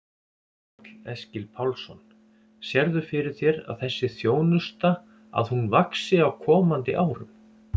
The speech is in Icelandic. Karl Eskil Pálsson: Sérðu fyrir þér að þessi þjónusta að hún vaxi á komandi árum?